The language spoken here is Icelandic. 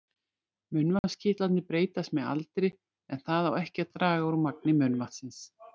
Munnvatnskirtlarnir breytast með aldri en það á ekki að draga úr magni munnvatnsins.